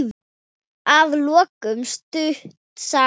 Að lokum stutt saga.